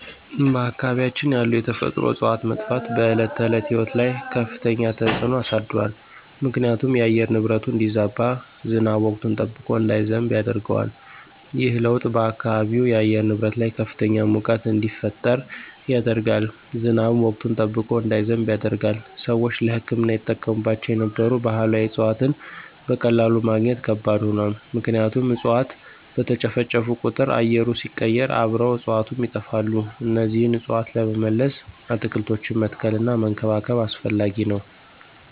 በአካባቢያችን ያሉ የተፈጥሮ እፅዋት መጥፋት በዕለት ተዕለት ሕይወት ላይ ከፍተኛ ተጽዕኖ አሳድሯል ምክንያቱም የአየር ንብረቱ እንዲዛባ፣ ዝናብ ወቅቱን ጠብቆ እንዳይዘንብ ያደርገዋል። ይህ ለውጥ በአካባቢው የአየር ንብረት ላይ ከፍተኛ ሙቀት እንዲፈጠር ያደርጋል፣ ዝናብም ወቅቱን ጠብቆ እንዳይዘንብ ያደርጋል። ሰዎች ለሕክምና ይጠቀሙባቸው የነበሩ ባህላዊ እፅዋትን በቀላሉ ማግኘት ከባድ ሆኗል ምክንያቱም እፅዋት በተጨፈጨፉ ቁጥር አየሩ ሲቀየር አብረው እፅዋቱም ይጠፋሉ እነዚህን እፅዋት ለመመለስ አትክልቶችን መትከልና መንከባከብ አስፈላጊ ነው።